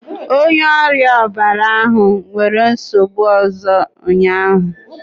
Onye ọrịa ọbara ahụ nwere nsogbu ọzọ ụnyahụ